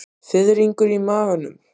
Fiðringur í maganum.